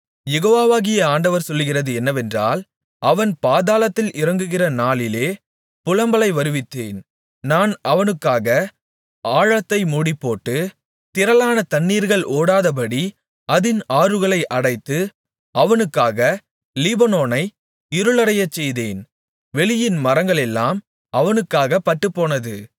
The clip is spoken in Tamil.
யெகோவாகிய ஆண்டவர் சொல்லுகிறது என்னவென்றால் அவன் பாதாளத்தில் இறங்குகிற நாளிலே புலம்பலை வருவித்தேன் நான் அவனுக்காக ஆழத்தை மூடிப்போட்டு திரளான தண்ணீர்கள் ஓடாதபடி அதின் ஆறுகளை அடைத்து அவனுக்காக லீபனோனை இருளடையச்செய்தேன் வெளியின் மரங்களெல்லாம் அவனுக்காக பட்டுப்போனது